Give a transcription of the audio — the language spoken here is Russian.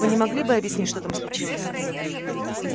вы не могли бы объяснить что там случилось